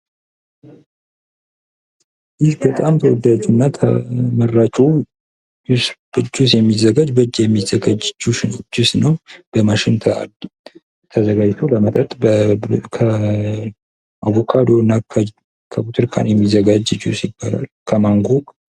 ይህ በጣም ተወዳጁና ተመራጩ በእጅ የሚዘጋጅ ጁስ ነው። በማሽን ተዘጋጅቶ ለመጠጥ ከአቮካዶ፣ ከብርቱካንና ከማንጎ የሚዘጋጅ ጅስ ነው።